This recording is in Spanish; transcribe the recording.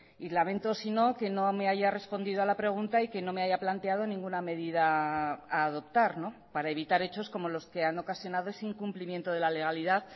y lamento si no que no me haya respondido a la pregunta y que no me haya planteado ninguna medida a adoptar para evitar hechos como los que han ocasionado ese incumplimiento de la legalidad